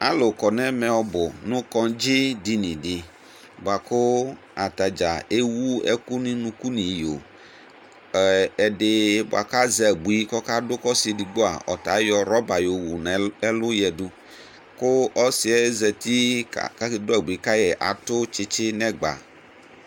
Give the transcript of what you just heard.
ɑlukɔ nɛmɛ ɔbu nukɔdziɗiniɖi ɑkω ɑtɑdzɑ ɛwuɛku ŋuŋuku ɲiyõ éɛɖibuɑku ɑzɛ ɑbuï kɔkɑɖu ɔsiɛɖgbo ɔtɑ ɑyɔṛɔbä ƴõwω ŋɛluyɛɖụ ku ɔsiɛ zɑti ƙu ósiɛ zɑti kɑtω tsitsinɛgbɑ